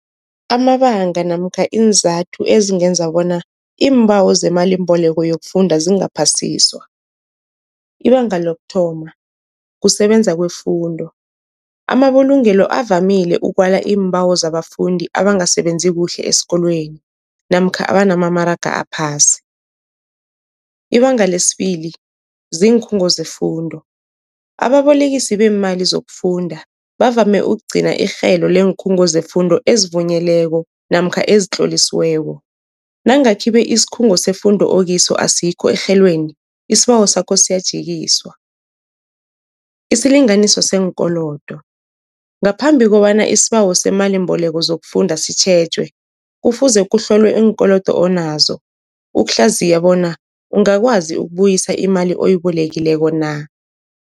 Amabanga namkha iinzathu ezingenza bona iimbawo zemalimboleko yokufunda zingaphasiswa. Ibanga lokuthoma kusebenza kwefundo, amabulungelo avamile ukwala iimbawo zabafundi abangasebenzi kuhle esikolweni namkha abanamamaraga aphasi. Ibanga lesibili ziinkhungo zefundo, ababolekisi beemali zokufunda bavame ukugcina irhelo leenkhungo zefundo ezivunyelweko namkha ezitlolisiweko, nange khibe isikhungo sefundo okiso asikho erhelweni isibawo sakho siyajikiswa. Isilinganiso seenkolodo, ngaphambi kobana isibawo seemalimboleko zokufunda sitjhejwe, kufuze kuhlolwe iinkolodo onazo, ukuhlaziya bona ungakwazi ukubuyisa imali oyibolekileko na.